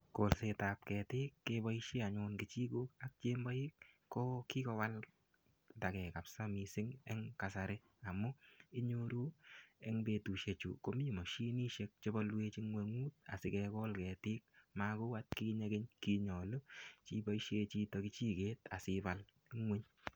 Kolsetab ketiik keboisien anyun kechijok, chemboik ko kigowaltagei kabisa eng kasari amu inyoru eng betusiechu komi mashinisiek che boluwech ingwengut asigegol ketiik. Magou atkinye keny kinyalu iboisien chito kechiget asipal ingwony.